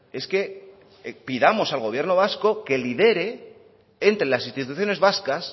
es que pidamos al gobierno vasco que lidere entre las instituciones vascas